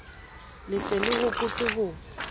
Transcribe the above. le se le hopotse ho